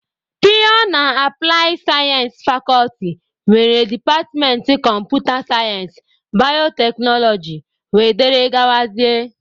Pịyọ na aplaị sayensị fakọlti nwere departmentị kọmputa sayensị, bayoteknoloji wdg.